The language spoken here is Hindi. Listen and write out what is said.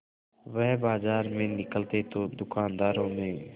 वह बाजार में निकलते तो दूकानदारों में